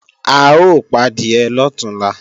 A ó padìẹ lọ̀túnla